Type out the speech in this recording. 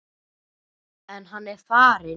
En hann er farinn.